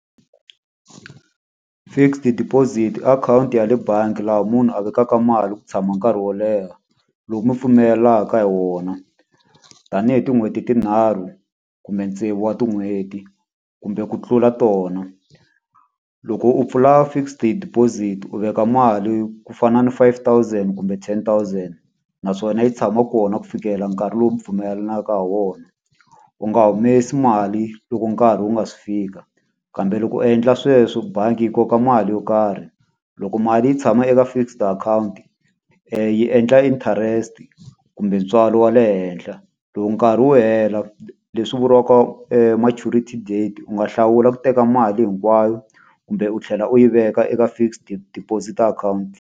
Fixed deposit i akhawunti ya le bangi laha munhu a vekaka mali ku tshama nkarhi wo leha, lowu mi pfumelelanaka hi wona. Tanihi tin'hweti tinharhu, kumbe tsevu wa tin'hweti, kumbe ku tlula tona. Loko u pfula fixed deposit, u veka mali ku fana ni five thousand kumbe ten thousand, naswona yi tshama kona ku fikela nkarhi lowu wu pfumelanaka ha wona. U nga humesi mali loko nkarhi wu nga si fika, kambe loko u endla sweswo bangi yi koka mali yo karhi. Loko mali yi tshama eka fixed akhawunti, yi endla interest kumbe ntswalo wa le henhla. Loko nkarhi wu hela leswi vuriwaka maturity date u nga hlawula ku teka mali hinkwayo, kumbe u tlhela u yi veka eka fixed deposit account.